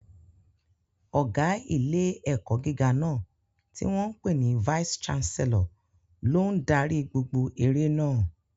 Ọ̀gá ilé-ẹ̀kọ́ gíga náà, tí wọ́n ń pè ní vice Chancellor, ló ń darí gbogbo eré náà.